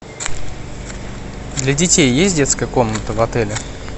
для детей есть детская комната в отеле